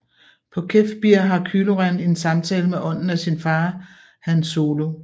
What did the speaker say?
På Kef Bir har Kylo Ren en samtale med ånden af sin far Han Solo